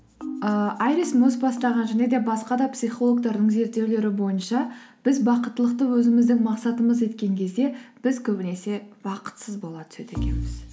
ыыы айрис мосс бастаған және де басқа да психологтардың зерттеулері бойынша біз бақыттылықты өзіміздің мақсатымыз еткен кезде біз көбінесе бақытсыз бола түседі екенбіз